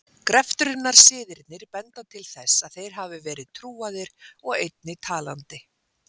Greftrunarsiðirnir benda til þess að þeir hafi verið trúaðir og einnig talandi.